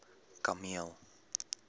kameel